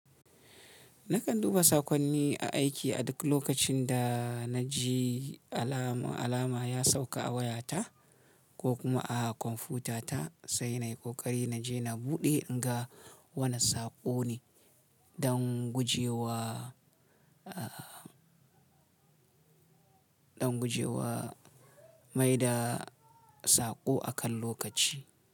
Nakan duba saƙonni a aiki a duk lokacin da na ji alama, alama ya sauka a wayata ko kuma a kwamfutata, sai na yi ƙoƙari na je na buɗe in ga wane saƙo ne don gujewa, don gujewa maida saƙo akan lokaci.